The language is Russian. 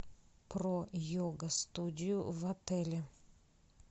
про йога студию в отеле